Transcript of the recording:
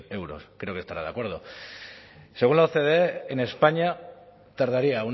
euros creo que estará de acuerdo según la ocde en españa tardaría